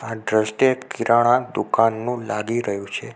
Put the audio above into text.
આ દ્રશ્ય કિરણાં દુકાનનું લાગી રહ્યુ છે.